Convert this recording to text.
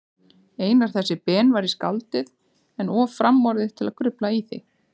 Einar þessi Ben væri skáldið, en of framorðið til að grufla í því.